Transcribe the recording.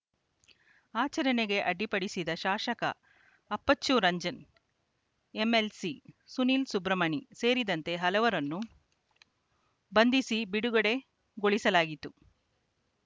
ಆಚರಣೆಗೆ ಅಡ್ಡಿಪಡಿಸಿದ ಶಾಸಕ ಅಪ್ಪಚ್ಚು ರಂಜನ್‌ ಎಂಎಲ್‌ಸಿ ಸುನಿಲ್‌ ಸುಬ್ರಮಣಿ ಸೇರಿದಂತೆ ಹಲವರನ್ನು ಬಂಧಿಸಿ ಬಿಡುಗಡೆ ಗೊಳಿಸಲಾಯಿತು